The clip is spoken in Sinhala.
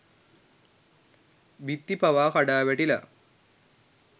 බිත්ති පවා කඩා වැටිලා